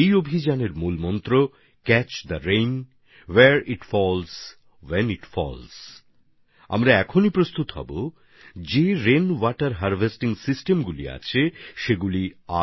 এই অভিযানের মূলমন্ত্র হচ্ছেক্যাচ the rain where it falls when it falls বৃষ্টিকে লুফে নাও যেখানেই পড়ুক যখনই পড়ুক আমরা এখন থেকে এই কাজে লেগে পড়লে